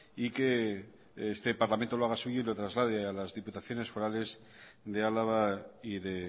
y que este parlamento lo haga suyo y lo traslade a las diputaciones forales de alava y de